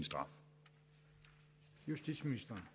justitsministeren